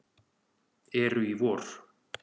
eru í vor.